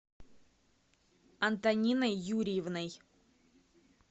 антониной юрьевной